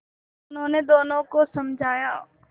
उन्होंने दोनों को समझाया